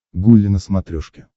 гулли на смотрешке